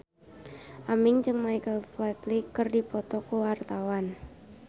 Aming jeung Michael Flatley keur dipoto ku wartawan